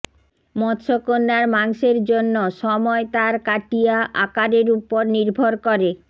মৎসকন্যার মাংসের জন্য সময় তার কাটিয়া আকারের উপর নির্ভর করে